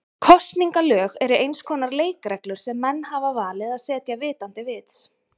Kosningalög eru eins konar leikreglur sem menn hafa valið að setja vitandi vits.